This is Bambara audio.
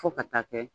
Fo ka taa kɛ